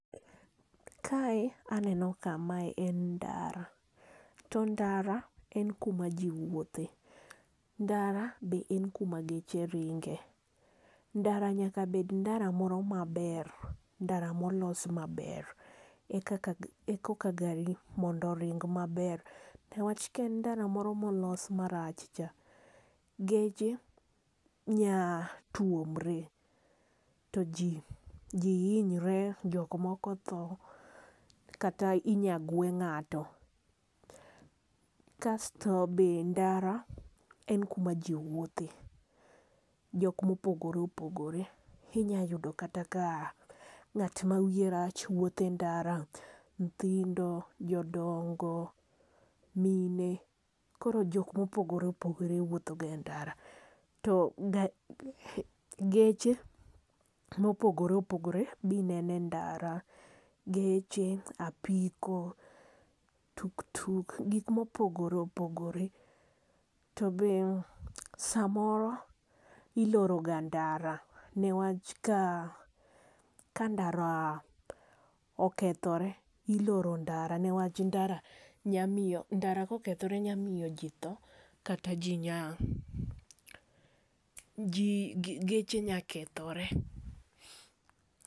Kae aneno ka mae en ndara to ndara en kuma jiwuothe ndara be en kuma geche ring'e ,ndara nyaka bed ndara moro maber ndara molosi maber ekoka gari mondo oring' maber, newach kor ndara moro molos marach cha geche nya tuomre ,to ji hinyre jok moko tho kata inyagwe ng'ato, kasto be ndara en kuma ji wuothe jok mopogore opogore ,inyalo yudo kata ka ng'at ma wiye rach wuotho e ndara ,nyithindo ,jodong'o ,mine koro jok mopogore opogore nyalo wuotho ga e ndara ,to geche mopogore opogore binene ndara ,geche ,apiko ,tuktuk gik mopogore opogore ,to be samoro iloro ga ndara niwach ka ndara okethore iloro ndara niwach ndara kokethore nyamiyo ji tho kata geche nya kethore.